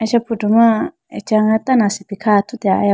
acha photo ma acha nga tando asipi kha athu tiya ayawu .]